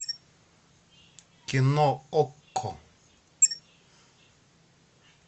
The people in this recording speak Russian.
кино окко